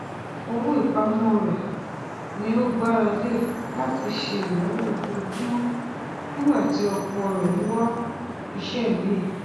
owó ìpamọ rẹ ni ó gbára lẹ láti ṣe ináwó ojoojúmọ nígbà tí ọkọ rẹ ń wá iṣẹ míì